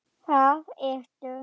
Það ertu.